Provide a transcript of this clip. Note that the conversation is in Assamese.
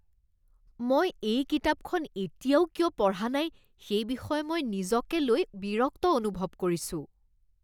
মই এই কিতাপখন এতিয়াও কিয় পঢ়া নাই সেই বিষয়ে মই নিজকে লৈ বিৰক্ত অনুভৱ কৰিছোঁ।